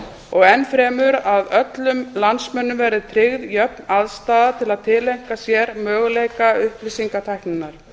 og enn fremur að öllum landsmönnum verði tryggð jöfn aðstaða til að tileinka sér möguleika upplýsingatækninnar